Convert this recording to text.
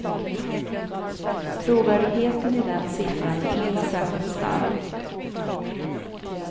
Trovärdigheten i den siffran är inte särskilt stark.